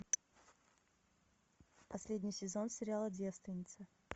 последний сезон сериала девственница